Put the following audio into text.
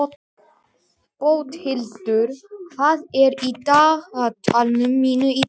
Bóthildur, hvað er í dagatalinu mínu í dag?